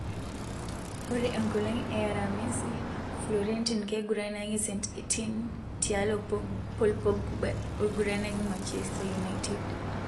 Ore enkolong e aramisi Florentin keiguranaki St Etienne tialo Paul Pogba oguranaki Manchester United.